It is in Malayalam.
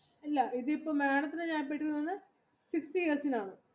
ഇല്ല madam ത്തിന് fifty yearsനാണ്